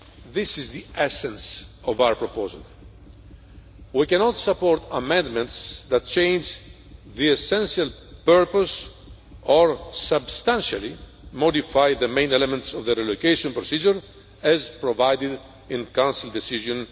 EU. This is the essence of our proposal. We cannot support amendments that change the essential purpose or substantially modify the main elements of the relocation procedure as provided for in Council Decision